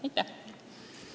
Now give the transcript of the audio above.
Aitäh!